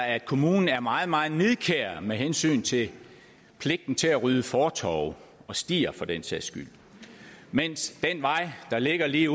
at kommunen er meget meget nidkær med hensyn til pligten til at rydde fortove og stier for den sags skyld mens den vej der ligger lige